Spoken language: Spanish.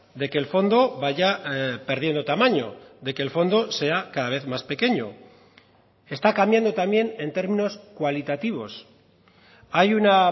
de que el fondo vaya perdiendo tamaño de que el fondo sea cada vez más pequeño está cambiando también en términos cualitativos hay una